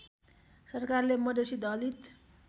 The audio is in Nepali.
सरकारले मधेसी दलित